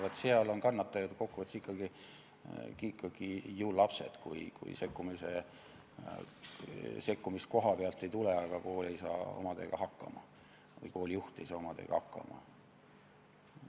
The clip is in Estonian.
Vaat seal on kannatajad ikkagi ju lapsed, kui sekkumist kohapealt ei tule, aga kool või koolijuht ei saa omadega hakkama.